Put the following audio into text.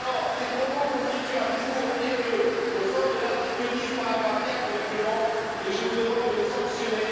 Ces propos constituent un discours haineux au sens de l'article 10, paragraphe 4, du règlement et je vous demande de les sanctionner.